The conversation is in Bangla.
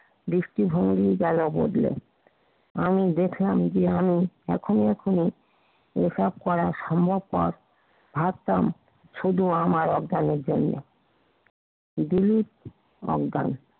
দৃষ্টিভঙ্গি গেল বদলে আমি দেখলাম যে, আমি এখনো এখানে এসব করার সম্মুখ পথ ভাবতাম শুধু আমার অজ্ঞানের জন্য দিলিপ অজ্ঞান